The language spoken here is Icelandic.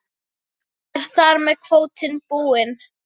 Er þar með kvótinn búinn?